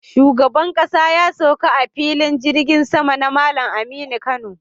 Shugaban ƙasa ya sauka a Filin jirgin sama na Malam Aminu Kano